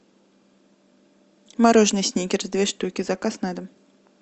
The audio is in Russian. мороженое сникерс две штуки заказ на дом